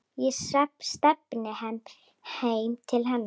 Ég stefni heim til hennar.